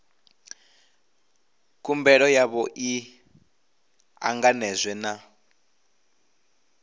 khumbelo yavho i ṱanganedzwe na